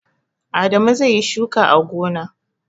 Adamu zai yi shuka a gona.